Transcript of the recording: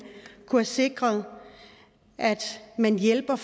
kunne sikre at man hjælper